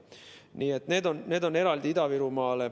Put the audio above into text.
Nii et need on eraldi piirangud Ida-Virumaal.